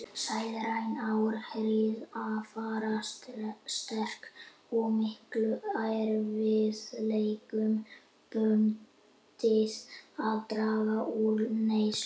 Sálræn áhrif afar sterk og miklum erfiðleikum bundið að draga úr neyslu.